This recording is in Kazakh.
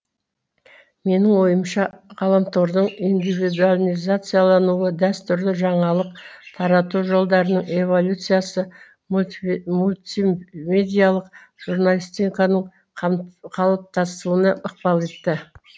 менің ойымша ғаламтордың индивидуализациялануы дәстүрлі жаңалық тарату жолдарының эволюциясы мультимедиялық журналистиканың қатыптасуына ықпал етті